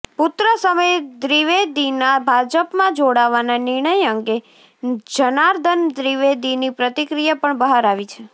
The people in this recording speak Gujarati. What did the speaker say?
પુત્ર સમીર દ્વિવેદીના ભાજપમાં જોડાવાના નિર્ણય અંગે જનાર્દન દ્વિવેદીની પ્રતિક્રિયા પણ બહાર આવી છે